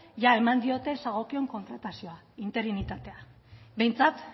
jada eman diote zagokion kontratazioa interinitatea behintzat